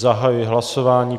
Zahajuji hlasování.